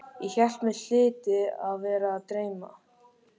Ég hélt mig hlyti að vera að dreyma.